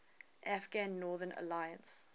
afghan northern alliance